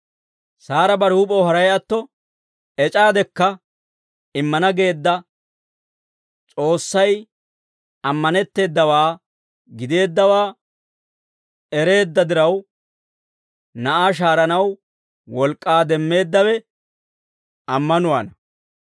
Saara bare huup'ew haray atto ec'aadekka, immana geedda S'oossay ammanetteedawaa gideeddawaa ereedda diraw, na'aa shahaaranaw wolk'k'aa demmeeddawe ammanuwaana.